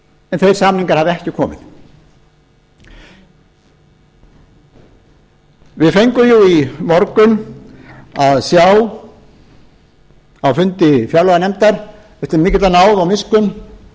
en þeir samningar hafa ekki komið við fengum jú í morgun að sjá á fundi fjárlaganefndar fyrir mikla náð og miskunn